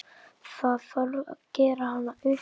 Það þarf gera hana upp.